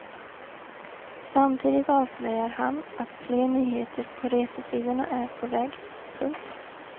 Samtidigt avslöjar han att fler nyheter på resesidorna är på väg. punkt